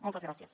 moltes gràcies